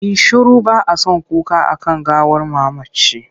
Yi shiru! ba a son kuka a kan gawar mamaci.